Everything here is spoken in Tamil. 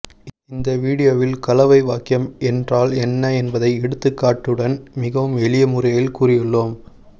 இந்த வீடியோவில் கலவை வாக்கியம் என்றால் என்ன என்பதை எடுத்துக்காட்டுடன் மிகவும் எளிய முறையில் கூறியுள்ளோம்